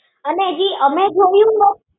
અને જે અમે જોયું ને